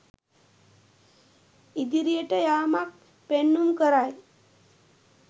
ඉදිරියට යාමක් පෙන්නුම් කරයි.